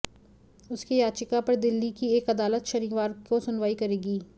उसकी याचिका पर दिल्ली की एक अदालत शनिवार को सुनवाई करेगी